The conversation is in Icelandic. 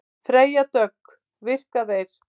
Freyja Dögg: Virka þeir?